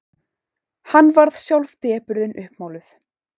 Hann varð sjálf depurðin uppmáluð.